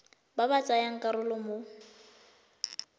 ba ba tsayang karolo mo